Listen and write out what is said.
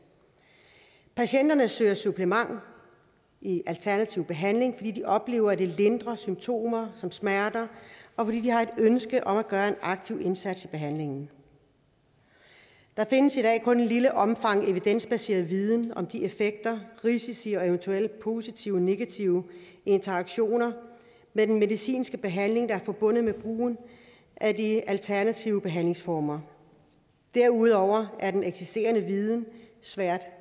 patienterne søger supplement i alternativ behandling fordi de oplever at det lindrer symptomer som smerter og fordi de har et ønske om at gøre en aktiv indsats i behandlingen der findes i dag kun i et lille omfang evidensbaseret viden om de effekter risici og eventuelle positive og negative interaktioner med den medicinske behandling der er forbundet med brugen af de alternative behandlingsformer derudover er den eksisterende viden svært